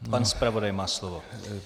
Pan zpravodaj má slovo.